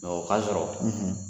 o k'a sɔrɔ